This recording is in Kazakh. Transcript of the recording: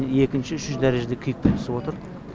екінші үшінші дәрежеде күйікпен түсіп отыр